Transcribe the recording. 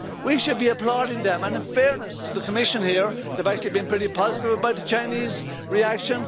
We should be applauding them, and in fairness to the Commission here, they've actually been pretty positive about the Chinese reaction